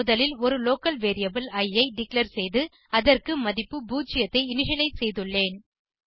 முதலில் ஒரு local variable இ ஐ டிக்ளேர் செய்து அதற்கு மதிப்பு 0 ஐ இனிஷியலைஸ் செய்துள்ளேன்